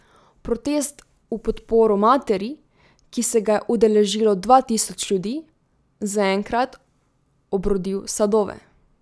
Protest v podporo materi, ki se ga je udeležilo dva tisoč ljudi, zaenkrat obrodil sadove.